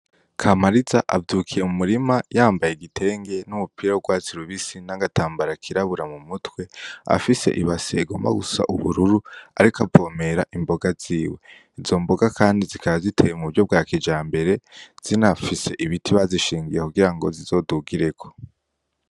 Kamariza avyukiye mu murima yambaye igitenge n'umupira w'urwatsi rubisi, n'agatambara kirabura mu mutwe. Afise ibase igomba gusa ubururu, ariko avomera imboga ziwe. Izo mboga kandi zikaba ziteye mu buryo bwa kijambere, zinafise ibiti bazishingiye kugira ngo zizogugireko.